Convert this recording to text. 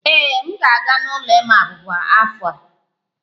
Ee, m ga-aga n'ụlọ ịma abuba n'afọ a